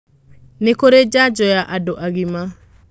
Nĩkũrĩjanjo ya andu agima.